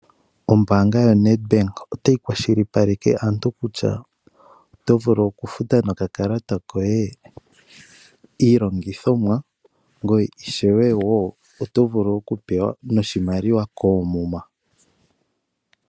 Ombaanga yo Nedbank otayi kwashilipaleka aantu kutya otovulu okufuta nokakalata koye Iilongothomwa ngoye ishewe wo oto vulu oku pewa noshimaliwa koomuma.